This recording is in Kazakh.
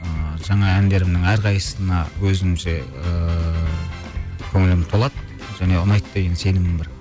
ааа жаңа әндерімнің әрқайсысына өзімше ыыы көңілім толады және ұнайды деген сенімім бар